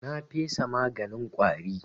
Na fesa maganin ƙwari.